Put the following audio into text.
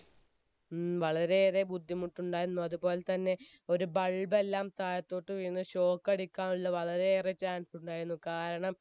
വളരെ ഏറെ ബുദ്ധിമുട്ടുണ്ടായിരുന്നു അതുപോലെ തന്നെ ഒരു bulb ബെല്ലാം താഴേത്തൊട്ട് വീണു shock അടിക്കാനുള്ള വളരെ ഏറെ chance ഉണ്ടായിരുന്നു